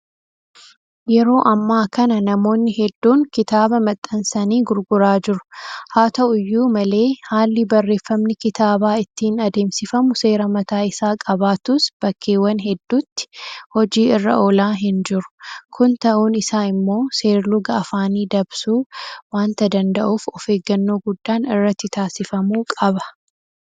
Yeroo ammaa kana namoonni hedduun kitaaba maxxansanii gurguraa jiru. Haata'u iyyuu malee haalli barreeffamni kitaabaa ittiin adeemsifamu seera mataa isaa qabaatus bakkeewwan hedduutti hojii irra oolaa hinjiru. Kun ta'uun isaa immoo seer-luga afaanii dabsuu waanta danda'uuf ofeeggannoo guddaan irratti taasifamuu qaba.